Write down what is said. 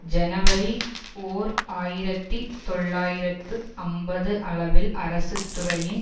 ஜனவரி ஓர் ஆயிரத்தி தொள்ளாயிரத்து ஐம்பது அளவில் அரசுத்துறையின்